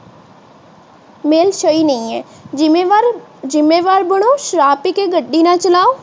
ਮੇਲ ਸਹੀ ਨਹੀਂ ਹੈ। ਜਿੰਮੇਵਾਰ ਬਣੋ ਸ਼ਰਾਬ ਪੀ ਕੇ ਗੱਡੀ ਨਾ ਚਲਾਓ।